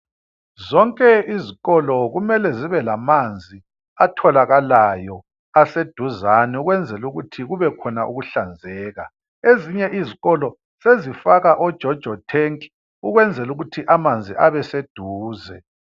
Zonke izikolo kumele zibe lamanzi atholakalayo aseduzane ukwenzela ukuthi kubekhona ukuhlanzeka. Ezinye izikolo sezifaka o"jojo tank" ukwenzela ukuthi amanzi abe seduze.